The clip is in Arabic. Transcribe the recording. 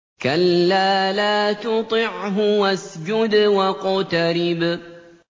كَلَّا لَا تُطِعْهُ وَاسْجُدْ وَاقْتَرِب ۩